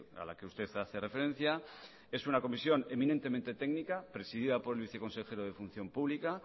a la que usted hace referencia es una comisión eminentemente técnica presidida por el viceconsejero de función pública